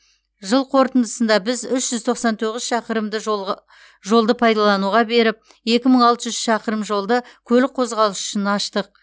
жыл қорытындысында біз үш жүз тоқсан тоғыз шақырымды жолды пайдалануға беріп екі мың алты жүз шақырым жолды көлік қозғалысы үшін аштық